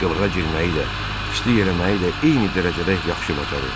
Qılığa girməyi də, pislik eləməyi də eyni dərəcədə yaxşı bacarırdı.